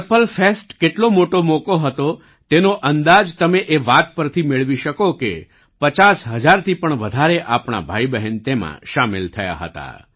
purple fest કેટલો મોટો મોકો હતો તેનો અંદાજ તમે એ વાત પરથી મેળવી શકો કે 50 હજારથી પણ વધારે આપણા ભાઈબહેન તેમાં સામેલ થયા હતા